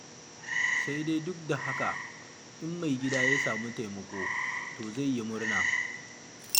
Sai dai duk da haka, in mai gida ya samu taimako, to zai yi murna.